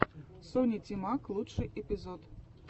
соня тимак лучший эпизод